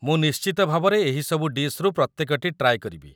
ମୁଁ ନିଶ୍ଚିତ ଭାବରେ ଏହି ସବୁ ଡିଶ୍‌ରୁ ପ୍ରତ୍ୟେକଟି ଟ୍ରାଏ କରିବି ।